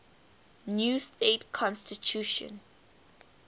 new state constitution